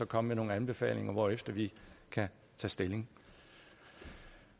komme med nogle anbefalinger hvorefter vi kan tage stilling